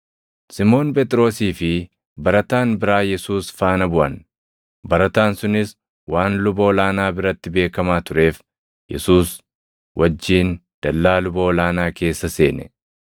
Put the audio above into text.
Simoon Phexrosii fi barataan biraa Yesuus faana buʼan. Barataan sunis waan luba ol aanaa biratti beekamaa tureef, Yesuus wajjin dallaa luba ol aanaa keessa seene;